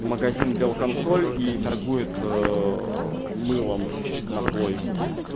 магазин белконсоль и торгует мылом на плойку